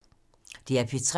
DR P3